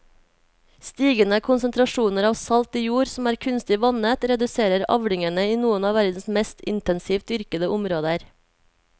Stigende konsentrasjoner av salt i jord som er kunstig vannet reduserer avlingene i noen av verdens mest intensivt dyrkede områder.